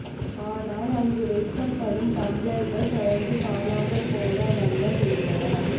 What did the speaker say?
ஆனால் அங்கு வைக்கப்படும் டம்ளர்கள் தொடர்ந்து காணாமல் போன வண்னம் இருந்தன